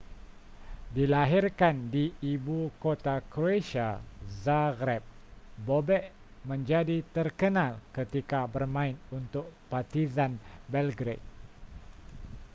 dilahirkan di ibu kota croatia zagreb bobek menjadi terkenal ketika bermain untuk partizan belgrade